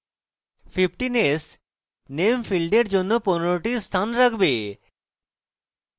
15s name ফীল্ডের জন্য 15s টি স্থান রাখবে